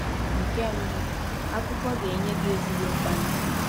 Nke mbụ, akụkọ ga-enye gị ezigbo mkpali.